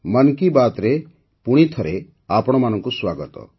ମନ୍ କି ବାତ୍ରେ ପୁଣି ଥରେ ଆପଣମାନଙ୍କୁ ସ୍ୱାଗତ